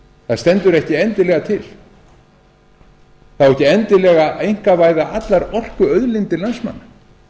það stendur ekki endilega til að á ekki endilega að einkavæða allar orkuauðlindir landsmanna